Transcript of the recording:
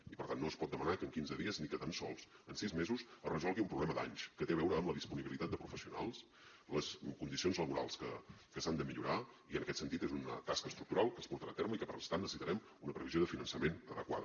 i per tant no es pot demanar que en quinze dies ni tan sols en sis mesos es resolgui un problema d’anys que té a veure amb la disponibilitat de professionals les condicions laborals que s’han de millorar i en aquest sentit és una tasca estructural que es portarà a terme i que per tant necessitarem una previsió de finançament adequada